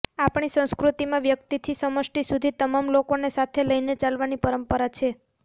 આપણી સંસ્કૃતિમાં વ્યકિતથી સમષ્ટિ સુધી તમામ લોકોને સાથે લઇને ચાલવાની પરંપરા છે